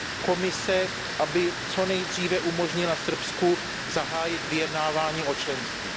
Komise by měla co nejdříve umožnit Srbsku zahájit vyjednávání o členství.